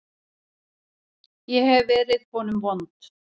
Ég hef verið honum vond.